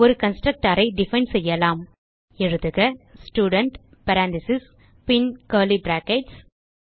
ஒரு கன்ஸ்ட்ரக்டர் ஐ டிஃபைன் செய்யலாம் எழுதுக ஸ்டூடென்ட் பேரெந்தசிஸ் பின் கர்லி பிராக்கெட்ஸ்